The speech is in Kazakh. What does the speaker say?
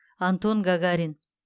антон гагарин